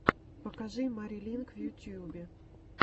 покажи мари линк в ютюбе